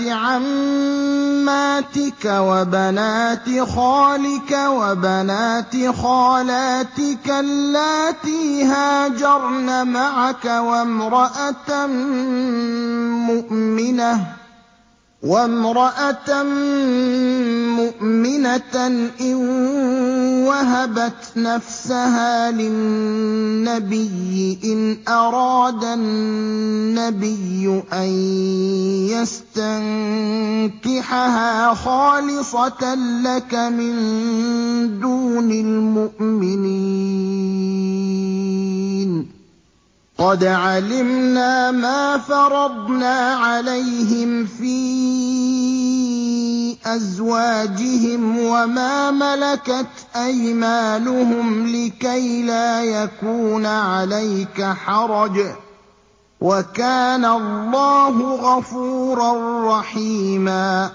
عَمَّاتِكَ وَبَنَاتِ خَالِكَ وَبَنَاتِ خَالَاتِكَ اللَّاتِي هَاجَرْنَ مَعَكَ وَامْرَأَةً مُّؤْمِنَةً إِن وَهَبَتْ نَفْسَهَا لِلنَّبِيِّ إِنْ أَرَادَ النَّبِيُّ أَن يَسْتَنكِحَهَا خَالِصَةً لَّكَ مِن دُونِ الْمُؤْمِنِينَ ۗ قَدْ عَلِمْنَا مَا فَرَضْنَا عَلَيْهِمْ فِي أَزْوَاجِهِمْ وَمَا مَلَكَتْ أَيْمَانُهُمْ لِكَيْلَا يَكُونَ عَلَيْكَ حَرَجٌ ۗ وَكَانَ اللَّهُ غَفُورًا رَّحِيمًا